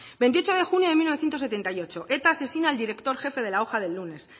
veintiocho de junio de mil novecientos setenta y ocho eta asesina al director jefe de la hoja del lunes